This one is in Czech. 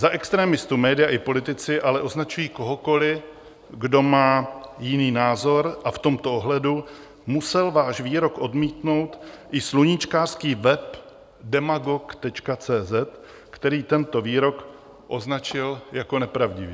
Za extremistu média i politici ale označují kohokoli, kdo má jiný názor, a v tomto ohledu musel váš výrok odmítnout i sluníčkářský web Demagog.cz, který tento výrok označil jako nepravdivý.